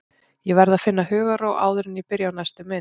Ég verð að finna hugarró áður en ég byrja á næstu mynd.